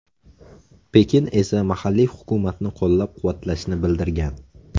Pekin esa mahalliy hukumatni qo‘llab-quvvatlashini bildirgan.